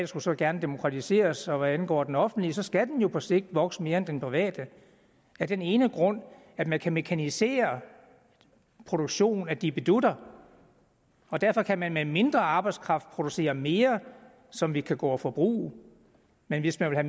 skulle så gerne demokratiseres og hvad angår den offentlige sektor skal den jo på sigt vokse mere end den private af den ene grund at man kan mekanisere produktionen af dippedutter og derfor kan man med mindre arbejdskraft producere mere som vi kan gå og forbruge men hvis man vil